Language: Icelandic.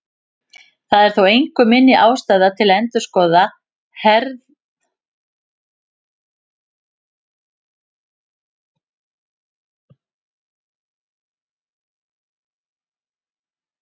Það er þó engu minni ástæða til að endurskoða hefðarveldi heimsbókmenntanna.